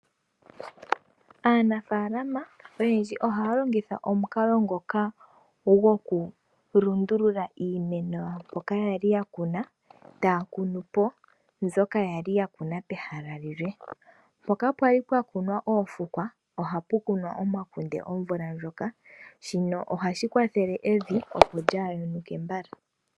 Aanafaalama oyendji ohaya longitha omukalo ngoka goku lundulula iimeno yawo pehala mpoka yali yili , taya kunupo mbyoka yali yakuna pehala lilwe . Mpoka pwali pwakunwa oofukwa, ohapu kunwa omakunde omvula ndjoka, shino ohashi kwathele evi opo lyaayonuke mbala.